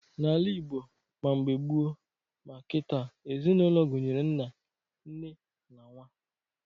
N'ala Ịgbo ma mgbe gboo ma kịta, ezinaụlọ gụnyere nna, nne na nwa